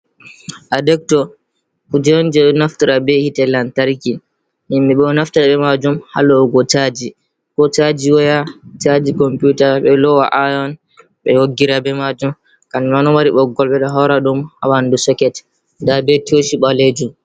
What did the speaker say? Adector hunde on je ɓe naftara be hite lantarki, himɓe ɓe ɗo naftara be majum ha lo’ugo chaji, ko chaji waya, chaji computer, ɓe ɗo lowa iron ɓe hoggira be majum kamjum ma ɗo mari ɓoggol, ɓe ɗo haura ɗum ha ɓandu soket, nda be toshi ɓalejum.